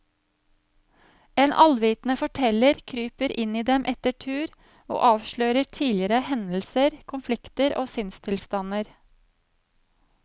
En allvitende forteller kryper inn i dem etter tur og avslører tidligere hendelser, konflikter og sinnstilstander.